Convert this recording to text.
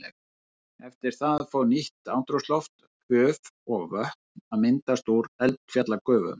Eftir það fór nýtt andrúmsloft, höf og vötn að myndast úr eldfjallagufum.